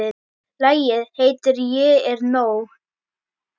Lagið heitir Ég er nóg.